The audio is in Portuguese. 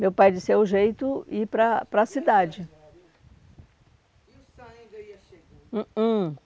Meu pai disse, é o jeito, ir para a para a cidade.